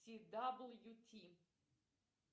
ти дабл ю ти